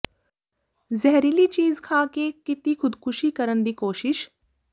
ਜ਼ਹਿਰੀਲੀ ਚੀਜ਼ ਖਾਂ ਕੇ ਕੀਤੀ ਖ਼ੁਦਕੁਸ਼ੀ ਕਰਨ ਦੀ ਕੋਸ਼ਿਸ਼